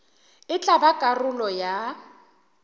e tla ba karolo ya